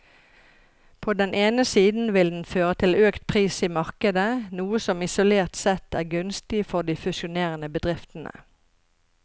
På den ene siden vil den føre til økt pris i markedet, noe som isolert sett er gunstig for de fusjonerende bedriftene.